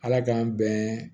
Ala k'an bɛn